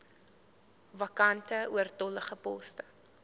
vakante oortollige poste